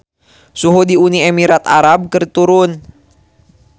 Suhu di Uni Emirat Arab keur turun